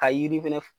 Ka yiri fɛnɛ